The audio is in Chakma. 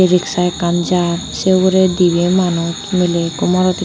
riksa ekkan jar sei ugurey dibey manus miley ekko morot ekko.